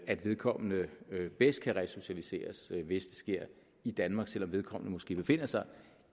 at vedkommende bedst kan resocialiseres hvis det sker i danmark selv om vedkommende måske befinder sig